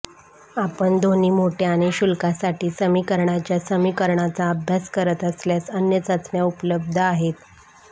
आपण दोन्ही मोठ्या आणि शुल्कासाठी समीकरणाच्या समीकरणाचा अभ्यास करत असल्यास अन्य चाचण्या उपलब्ध आहेत